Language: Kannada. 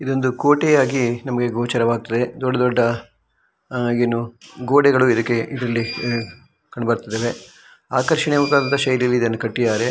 ಇದು ಕೋಟೆ ಆಗಿ ನಮಗೆ ಗೋಚರ ವ್ಗತಿದೆ ದೊಡ್ಡ ದೊಡ್ಡ ಅಹ್ ಏನು ಗೋಡೆ ಗಳು ಇದ್ದಕೆ ಇರಲಿ ಕಂಡುಬರ್ತಿದೆ ಆಕರ್ಷಣೀಯ ವಾಗಿ ಇದನ್ನು ಕಟ್ಟಿದರೆ .